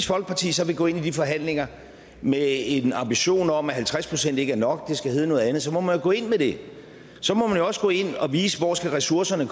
folkeparti så vil gå ind i de forhandlinger med en ambition om at halvtreds procent ikke er nok og at det skal hedde noget andet så må man jo gå ind med det så må man jo også gå ind og vise hvor ressourcerne